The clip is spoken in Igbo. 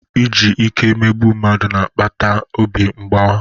Iji ike emegbu mmadụ na-akpata obi mgbawa.